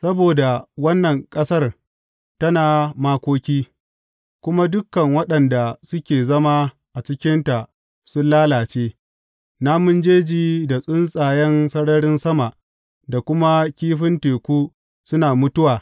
Saboda wannan ƙasar tana makoki, kuma dukan waɗanda suke zama a cikinta sun lalace; namun jeji da tsuntsayen sararin sama da kuma kifin teku suna mutuwa.